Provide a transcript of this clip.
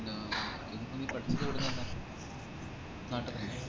ആഹ് ഇതിപ്പം പഠിച്ച എവിടനിന്ന നാട്ട്ത്തന്നെയാ